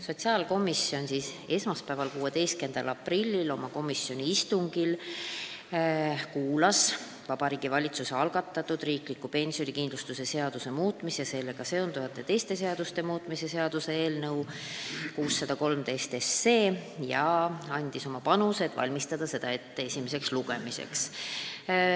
Sotsiaalkomisjon kuulas esmaspäeval, 16. aprillil oma istungil Vabariigi Valitsuse algatatud riikliku pensionikindlustuse seaduse muutmise ja sellega seonduvalt teiste seaduste muutmise seaduse eelnõu tutvustust ja andis oma panuse, et valmistada seda ette esimeseks lugemiseks.